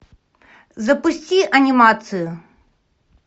запусти анимацию